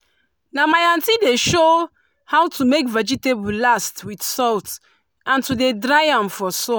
na my aunty dey show how to make vegetable last with salt and to dey dry am for sun.